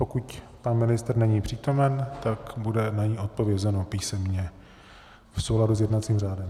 Pokud pan ministr není přítomen, tak bude na ni odpovězeno písemně v souladu s jednacím řádem.